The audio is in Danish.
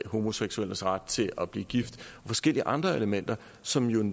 homoseksuelles ret til at blive gift og forskellige andre elementer som jo